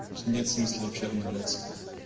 нет смысла вообще обновляться